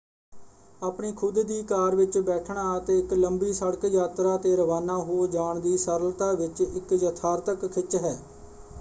ਆਪਣੀ ਖੁਦ ਦੀ ਕਾਰ ਵਿੱਚ ਬੈਠਣਾ ਅਤੇ ਇੱਕ ਲੰਬੀ ਸੜਕ ਯਾਤਰਾ 'ਤੇ ਰਵਾਨਾ ਹੋ ਜਾਣ ਦੀ ਸਰਲਤਾ ਵਿੱਚ ਇੱਕ ਯਥਾਰਥਕ ਖਿੱਚ ਹੈ।